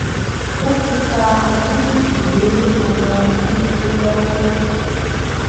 wọn ti fa àwọn méjèèjì lé àwọn agbófinró lọwọ